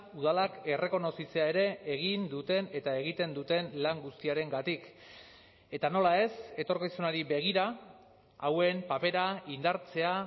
udalak errekonozitzea ere egin duten eta egiten duten lan guztiarengatik eta nola ez etorkizunari begira hauen papera indartzea